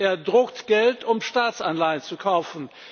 Er druckt Geld, um Staatsanleihen zu kaufen.